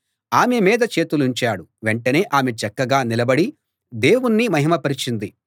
ఆమె మీద చేతులుంచాడు వెంటనే ఆమె చక్కగా నిలబడి దేవుణ్ణి మహిమ పరిచింది